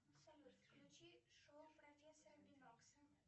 салют включи шоу профессора бинокса